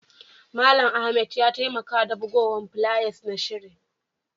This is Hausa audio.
Mallam Ahmed ya taimaka da bugowan fulayas na shirin.